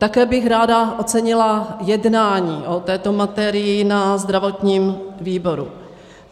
Také bych ráda ocenila jednání o této materii na zdravotním výboru.